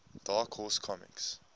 dark horse comics